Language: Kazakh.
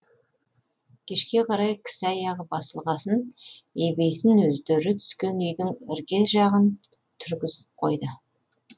кешке қарай кісі аяғы басылғасын ебейсін өздері түскен үйдің ірге жағын түргізіп қойды